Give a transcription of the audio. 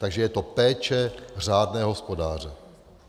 Takže je to péče řádného hospodáře.